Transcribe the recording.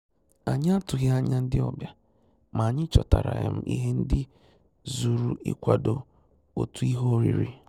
Ànyị́ àtụ́ghị́ ányà ndị́ ọ́bị̀à, mà ànyị́ chọ́tàrà um ìhè ndị́ zùrù ìkwádò òtù ìhè órírí.